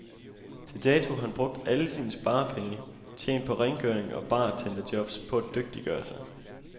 Til dato har han brugt alle sine sparepenge, tjent på rengøring og bartenderjobs, på at dygtiggøre sig.